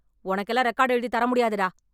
உனக்கெல்லாம் ரெக்கார்ட் எழுதித் தர முடியாதுடா...